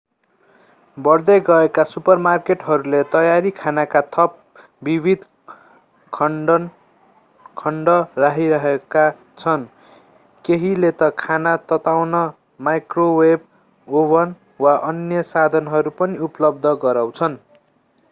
बढ्दै गरेका सुपरमार्केटहरूले तयारी खानाका थप विविध खण्ड राखिरहेका छन् केहीले त खाना तताउन माइक्रोवेव ओभन वा अन्य साधनहरू पनि उपलब्ध गराउँछन्